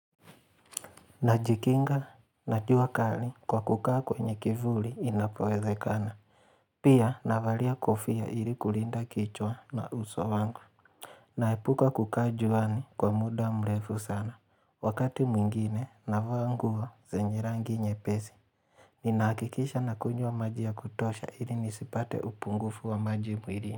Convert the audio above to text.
Najikinga na jua kali, kwa kukaa kwenye kivuli inapowezekana. Pia, navalia kofia ili kulinda kichwa na uso wangu. Naepuka kukaa juani kwa muda mrefu sana. Wakati mwingine navaa nguo zenye rangi nyepesi. Ninahakikisha nakunywa maji ya kutosha ili nisipate upungufu wa maji mwilini.